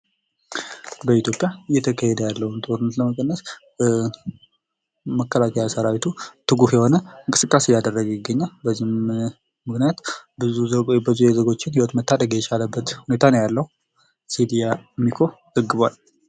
በኢትዮጵያ እየተካሄደ ያለውን ጦርነት ከመቀነስ መከላከያ ሰራዊቱ ትጉህ የሆነ እንቅስቃሴ እያደረገ ይገኛል::በዚህም ምክንያቱም ብዙ የዜጎችን ሕይወት መታደግ የቻለበት ሁኔታ ነው ያለው ሲል አሚኮ ዘግቧል::